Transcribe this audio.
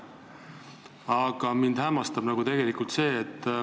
Aga mind hämmastab vaat mis asi.